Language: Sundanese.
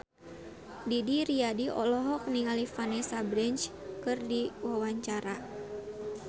Didi Riyadi olohok ningali Vanessa Branch keur diwawancara